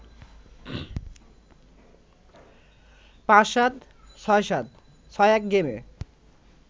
৭-৫, ৬-৭, ৬-১ গেমে